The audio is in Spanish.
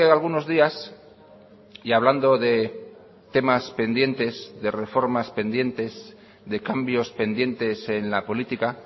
algunos días y hablando de temas pendientes de reformas pendientes de cambios pendientes en la política